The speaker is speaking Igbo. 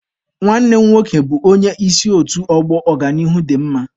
Nwanne m nwoke bụ onye isi otu ọgbọ Ọganihu dị mma.